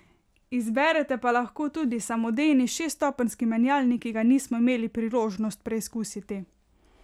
Izberete pa lahko tudi samodejni šeststopenjski menjalnik, ki ga nismo imeli priložnost preizkusiti.